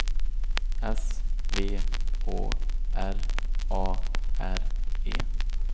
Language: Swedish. S V Å R A R E